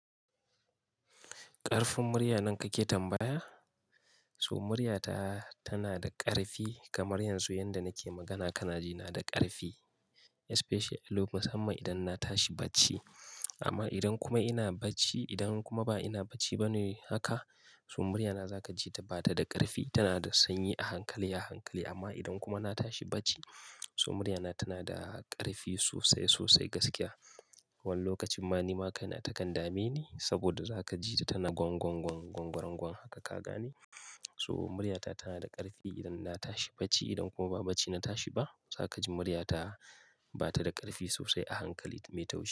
Ƙarfin murya nan kake tambaya? To murya ta tana da ƙarfi, kamar yanzu yanda nake magana kanaji na da ƙarfi, especially lok-- musamman idan na tashi bacci. Amma idan kuma ina bacci, idan kuma ba ina bacci bane haka, so murya na zaka ji ta bata da ƙarfi, tana da sanyi a hankali, a hankali, amma idan kuma na tashi bacci, so murya na tana da ƙarfi sosai sosai gaskiya. Wani lokacin ma ni ma kai na takan dame ni, saboda zaka ji ta tana gwangwangwan-gwangwarangwan haka ka gane. So murya ta tana da ƙarfi idan na tashi bacci, idan kuma ba bacci na tashi ba zaka ji murya ta bata da ƙarfi sosai, a hankali mai taushi.